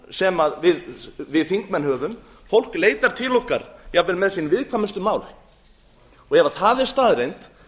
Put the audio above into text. sem við þingmenn fólk leitar til okkar jafnvel með sín viðkvæmustu mál og ef það er staðreynd